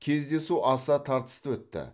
кездесу аса тартысты өтті